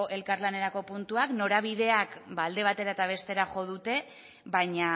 elkarlanerako puntuak norabideak alde batera eta bestera jo dute baina